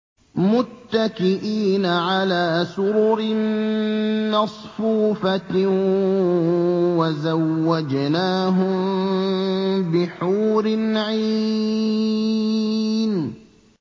مُتَّكِئِينَ عَلَىٰ سُرُرٍ مَّصْفُوفَةٍ ۖ وَزَوَّجْنَاهُم بِحُورٍ عِينٍ